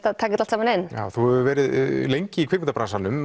að taka þetta inn já þú hefur verið lengi í